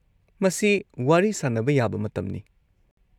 -ꯃꯁꯤ ꯋꯥꯔꯤ ꯁꯥꯅꯕ ꯌꯥꯕ ꯃꯇꯝꯅꯤ꯫